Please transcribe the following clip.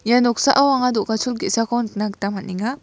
ia noksao anga do·gachol ge·sako nikna gita man·enga.